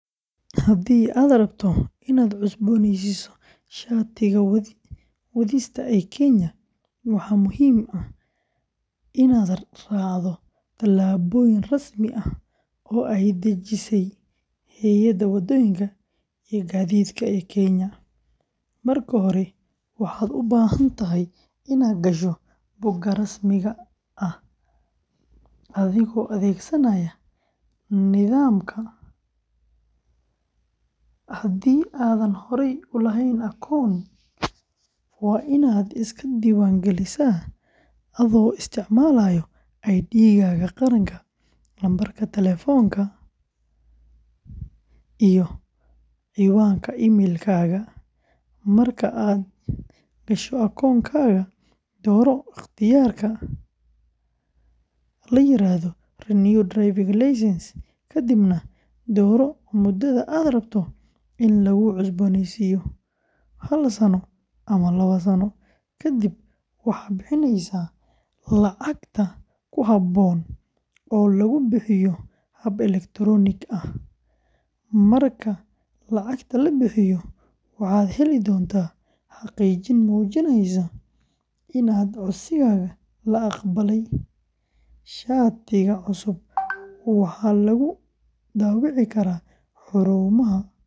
Haddii aad rabto inaad cusboonaysiiso shatiga wadista ee Kenya, waxaa muhiim ah inaad raacdo tallaabooyin rasmi ah oo ay dejisay Hay’adda Wadooyinka iyo Gaadiidka ee Kenya. Marka hore, waxaad u baahan tahay inaad gasho bogga rasmiga ah ee adigoo adeegsanaya nidaamka. Haddii aadan horey u lahayn akoon, waa inaad iska diiwaangelisaa adoo isticmaalaya ID-gaaga qaranka, lambarka taleefanka, iyo ciwaanka email-kaaga. Marka aad gasho akoonkaaga, dooro ikhtiyaarka la yiraahdo "Renew Driving Licence," kadibna dooro muddada aad rabto in lagu cusboonaysiiyo—hal sano ama laba sano. Kadib, waxaad bixinaysaa lacagta ku habboon oo lagu bixiyo hab elektaroonik ah sida M-Pesa. Marka lacagta la bixiyo, waxaad heli doontaa xaqiijin muujinaysa in codsigaaga la aqbalay. Shatiga cusub waxaa lagu daabici karaa xarumaha.